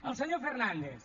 al senyor fernàndez